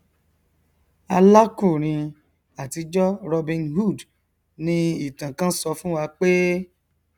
alákùrin àtijọ robin hood ni ìtàn kán sọ fúnwa pé